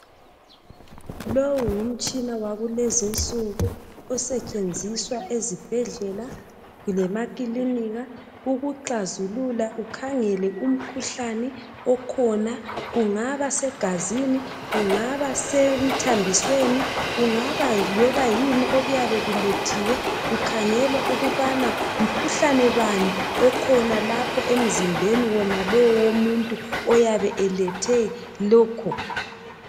Lowu ngumtshina wakulezi insuku osetshenziswa ezibhedlela lemakilinika. . Ukuklazulula, ukhangele umkhuhlane okhona. Kungabasegazini, kungaba semthambisweni, .Kungaba loba yini okuyabe kulethiwe. Kukhangelwa ukuba mkhuhlane bani okhona emzimbeni walowomuntu oyabe elethe lokho